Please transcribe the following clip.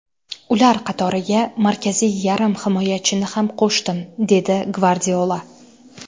Ular qatoriga markaziy yarim himoyachini ham qo‘shdim”, dedi Gvardiola.